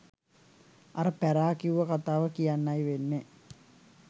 අර පැරා කිව්ව කතාව කියන්නයි වෙන්නෙ